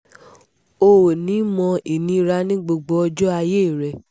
o ò ní í mọ ìnira ní gbogbo ọjọ́ ayé rẹ